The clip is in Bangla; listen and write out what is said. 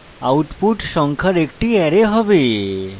output সংখ্যার একটি অ্যারে হবে